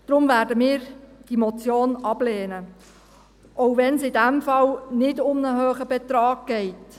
Deshalb werden wir diese Motion ablehnen, auch wenn es in diesem Fall nicht um einen hohen Betrag geht.